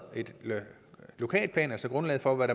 en lokalplan altså grundlaget for hvad